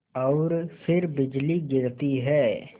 और फिर बिजली गिरती है